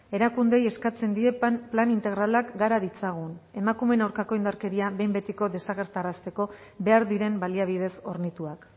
erakundeei eskatzen die plan integralak gara ditzagun emakumeen aurkako indarkeria behin betiko desagerrarazteko behar diren baliabidez hornituak